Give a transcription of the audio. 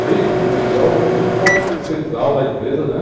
Feito o primeiro grau, eu vim para a central da empresa, né?